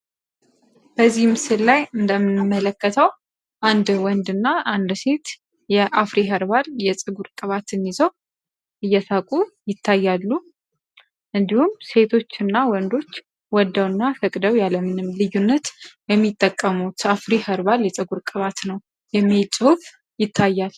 በዚህ ምስል ላይ እንደመለከተው አንድ ወንድ እና አንድ ሴት የአፍሪ ኸርባል የጽጉር ቅባትን ይዘው እየታቁ ይታያሉ። እንዲሁም ሴቶች እና ወንዶች ወደው እና ፈቅደው ያለምንም ልዩነት የሚጠቀሙት አፍሪ ኸርባል የጽጉር ቅባት ነው የሚል ጽሁፍ ይታያል።